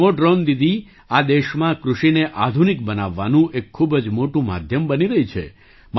આ નમો ડ્રૉન દીદી આ દેશમાં કૃષિને આધુનિક બનાવવાનું એક ખૂબ જ મોટું માધ્યમ બની રહી છે